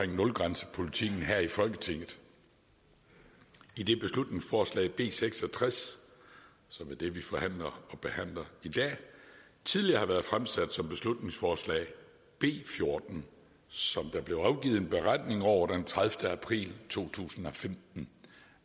nulgrænsepolitikken her i folketinget idet beslutningsforslag b seks og tres som er det vi forhandler og behandler i dag tidligere har været fremsat som beslutningsforslag b fjorten som der blev afgivet en beretning over den tredivete april to tusind og femten